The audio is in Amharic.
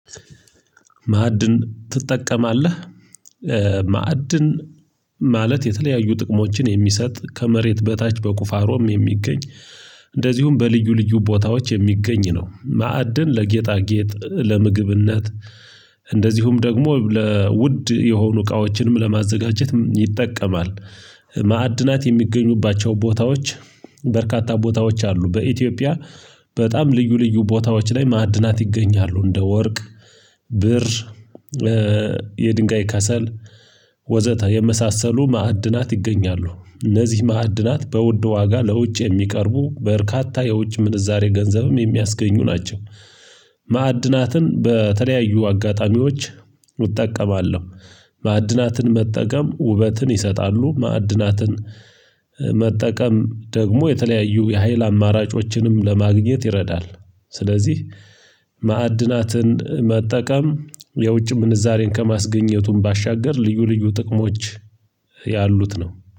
ማዕድን ትጠቀማለህ? ማዕድን ማለት የተለያዩ ጥቅሞችን የሚሰጥ ከመሬት በታች በቁፋሮም የሚገኝ እንደዚሁም በልዩ ልዩ ቦታዎች የሚገኝ ነው። ማዕድን ለጌጣጌጥ ለምግብነት እንደዚሁም ደግሞ ለውድ የሆኑ እቃዎችንም ለማዘጋጀት ይጠቀማል። ማዕድናት የሚገኙባቸው ቦታዎች በርካታ ቦታዎች አሉ። በኢትዮጵያ በጣም ልዩ ልዩ ቦታዎች ላይ ማዕድናት ይገኛሉ። እንደ ወርቅ ብር የድንጋይ ከሰል ወዘተ የመሳሰሉ ማዕድናት ይገኛሉ። እነዚህ ማዕድናት በውድ ዋጋ ለውጭ የሚቀርቡ በርካታ የውጭ ምንዛሬ ገንዘብም የሚያስገኙ ናቸው። ማዕድናትን በተለያዩ አጋጣሚዎች እጠቀማለሁ። ማዕድናትን መጠቀም ውበትን ይሰጣሉ። ማዕድናትን መጠቀም ደግሞ የተለያዩ የሀይል አማራጮችንም ለማግኘት ይረዳል። ስለዚህ ማዕድናትን መጠቀም የውጭ ምንዛሬን ከማስገኘቱም ባሻገር ልዩ ልዩ ጥቅሞች ያሉት ነው